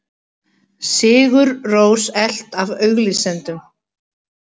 Sigur Rós elt af auglýsendum